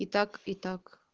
и так и так